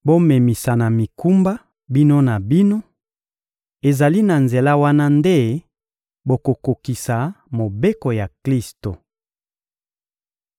Bomemisana mikumba bino na bino; ezali na nzela wana nde bokokokisa mobeko ya Klisto.